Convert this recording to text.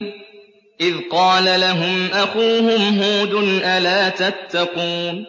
إِذْ قَالَ لَهُمْ أَخُوهُمْ هُودٌ أَلَا تَتَّقُونَ